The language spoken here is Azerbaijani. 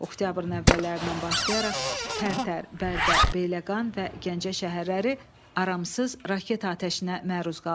Oktyabrın əvvəllərindən başlayaraq Tərtər, Bərdə, Beyləqan və Gəncə şəhərləri aramsız raket atəşinə məruz qaldı.